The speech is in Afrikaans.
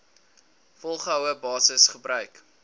volgehoue basis gebruik